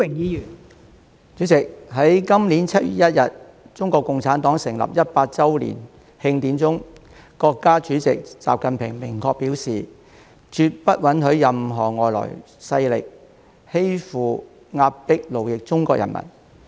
代理主席，在今年7月1日，中國共產黨成立100周年慶典中，國家主席習近平明確表示，絕不允許任何外來勢力欺負、壓迫、奴役中國人民。